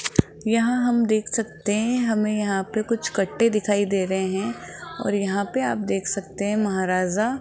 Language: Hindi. यहां हम देख सकते हैं हमें यहां पे कुछ कट्टे दिखाई दे रहे हैं और यहां पे आप देख सकते हैं महाराजा --